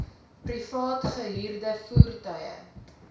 privaat gehuurde voertuie